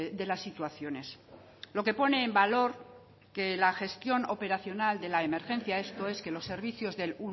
de las situaciones lo que pone en valor que la gestión operacional de la emergencia esto es que los servicios del